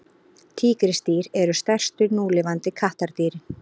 tígrisdýr eru stærstu núlifandi kattardýrin